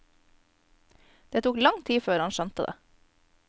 Det tok lang tid før han skjønte det.